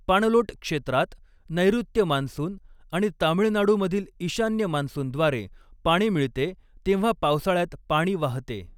पाणलोट क्षेत्रात नैऋत्य मान्सून आणि तामिळनाडूमधील ईशान्य मान्सूनद्वारे पाणी मिळते तेव्हा पावसाळ्यात पाणी वाहते.